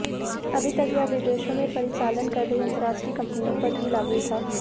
अभी तक यह विदेश में परिचालन कर रही अंतरराष्ट्रीय कंपनियों पर ही लागू था